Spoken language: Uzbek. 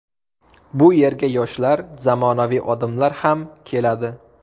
Bu yerga yoshlar, zamonaviy odamlar ham keladi.